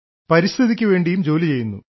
പരിസ്ഥിതിക്കു വേണ്ടിയും ജോലി ചെയ്യുന്നു